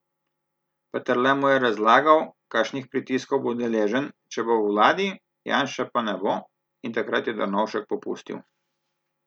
Peterle mu je razlagal, kakšnih pritiskov bo deležen, če bo v vladi, Janše pa ne bo, in takrat je Drnovšek popustil.